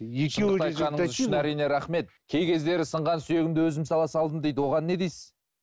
әрине рахмет кей кездері сынған сүйегімді өзім сала салдым дейді оған не дейсіз